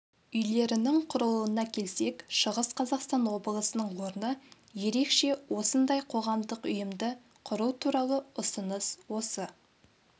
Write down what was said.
үйлерінің құрылуына келсек шығыс қазақстан облысының орны ерекше осындай қоғамдық ұйымды құру туралы ұсыныс осы